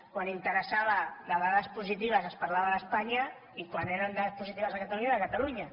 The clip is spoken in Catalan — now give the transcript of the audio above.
quan interessava de dades positives es parlava d’espanya i quan eren dades positives a catalunya era catalunya